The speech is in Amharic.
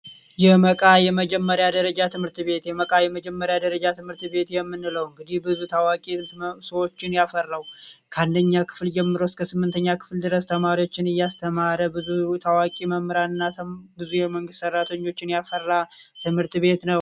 የመጀመሪያ ደረጃ ትምህርት ቤት የመቃብሪያ ደረጃ ትምህርት ቤት የምንለው እንግዲ ብዙ ታዋቂ ሰዎች ያፈረው ከአንደኛ ክፍል ጀምሮ እስከ ስምንተኛ ክፍል ድረስ ተማሪዎችን እያስተማረ ብዙ ታዋቂ መምህራንና ብዙ የመንግስት ሰራተኛ ትምህርት ቤት ነው